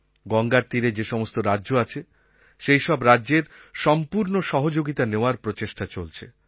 গঙ্গার তীরে যেসমস্ত রাজ্য আছে সেইসব রাজ্যের সম্পূর্ণ সহযোগিতা নেওয়ার প্রচেষ্টা চলছে